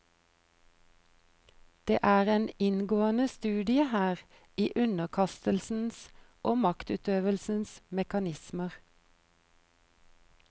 Det er en inngående studie her i underkastelsens og maktutøvelsens mekanismer.